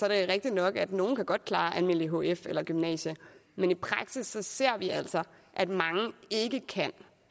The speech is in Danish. rigtigt nok at nogle godt kan klare en almindelig hf eller gymnasiet men i praksis ser vi altså at mange ikke kan